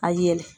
A yɛlɛ